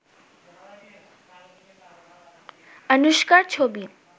আনুশকার ছবি